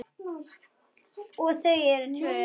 Og þau eru tvö.